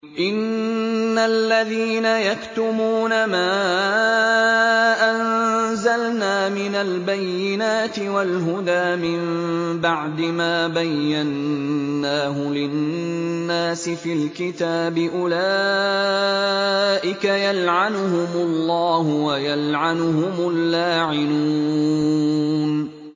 إِنَّ الَّذِينَ يَكْتُمُونَ مَا أَنزَلْنَا مِنَ الْبَيِّنَاتِ وَالْهُدَىٰ مِن بَعْدِ مَا بَيَّنَّاهُ لِلنَّاسِ فِي الْكِتَابِ ۙ أُولَٰئِكَ يَلْعَنُهُمُ اللَّهُ وَيَلْعَنُهُمُ اللَّاعِنُونَ